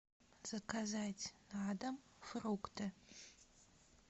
заказать на дом фрукты